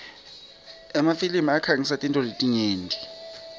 emafilimi akhangisa tintfo letinyenti